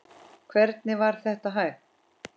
Hvernig var það hægt?